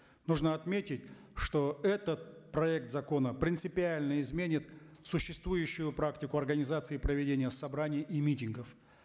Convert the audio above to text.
нужно отметить что этот проект закона принципиально изменит существующую практику организации проведения собраний и митингов